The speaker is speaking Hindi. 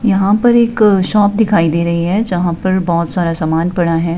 यहां पर एक शॉप दिखाई दे रही हैजहां पर बहुत सारा सामान पड़ा है।